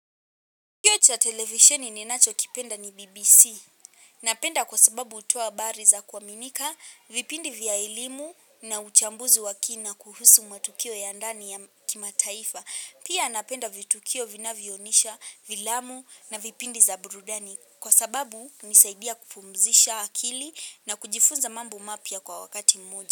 Kituo cha televisheni ninacho kipenda ni BBC. Napenda kwa sababu hutoa habari za kuaminika, vipindi vya elimu na uchambuzi wa kina kuhusu matukio ya ndani ya kimataifa. Pia napenda vitukio vina vionisha, vilamu na vipindi za burudani. Kwa sababu unisaidia kupumzisha akili na kujifunza mambo mapya kwa wakati mmoja.